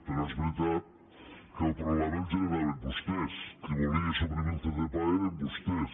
però és veritat que el problema el generaven vostès qui volia suprimir el ccpae eren vostès